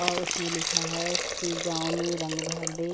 और उसमें लिखा है फिजाओं में रंग भर दे।